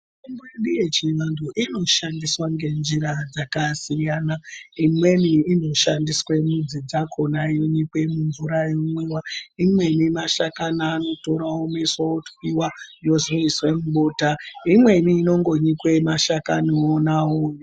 Mitombo yechiyungu inoshandiswa ngenjira dzakasiyana, imweni inoshandiswa midzi dzakhona dzeinyikwa mumvur yeimwiwa imweni mashakani anotora omwiswa otwiwa ozoizwe mubota, imweni inongonyikwe mashakani wonawo.